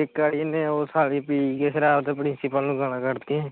ਇਕ ਵਾਰੀ ਇਹਨੇ ਉਹ ਸਾਲੀ ਪੀ ਕੇ ਸ਼ਰਾਬ ਤੇ ਪ੍ਰਿਸੀਪਲ ਨੂੰ ਗਾਲ੍ਹਾਂ ਕੱਢਤੀਆ ਹੀ